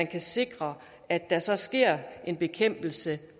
kan sikre at der så sker en bekæmpelse